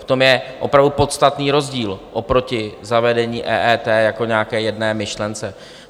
V tom je opravdu podstatný rozdíl oproti zavedení EET jako nějaké jedné myšlence.